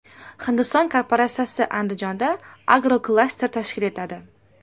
Hindiston korporatsiyasi Andijonda agroklaster tashkil etadi.